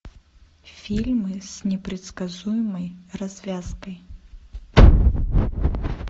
фильмы с непредсказуемой развязкой